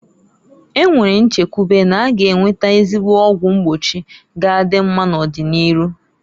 E nwere nchekwube na-aga enwete ezigbo ọgwụ mgbochi ga adị mma n'ọdị n'iru.